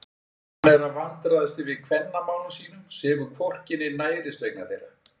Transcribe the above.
Og hann er að vandræðast yfir kvennamálum sínum, sefur hvorki né nærist vegna þeirra!